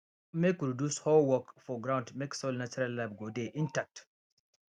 make we reduce hoe work for ground mek soil natural life go dey intact